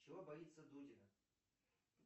чего боится дудина